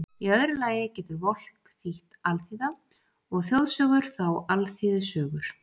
Í öðru lagi getur Volk þýtt alþýða, og þjóðsögur þá alþýðusögur.